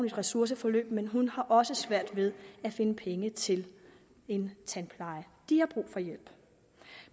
et ressourceforløb men hun har også svært ved at finde penge til en tandpleje de har brug for hjælp